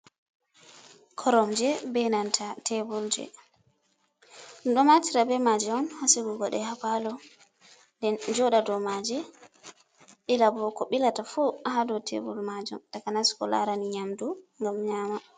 Koromje be nanta tebulje, ɗum ɗo naftira be maaje on ha sigugo ɗe ha paalo, ɓe jooɗa dow maaji, ɓila bo ko ɓilata fu ha dow tebul maajum, takanas ko laarani nyamdu, ngam nyaama.